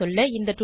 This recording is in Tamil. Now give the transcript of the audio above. சுருங்கசொல்ல